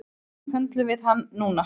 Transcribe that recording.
Þannig höndlum við hann núna